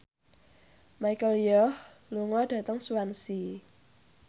Michelle Yeoh lunga dhateng Swansea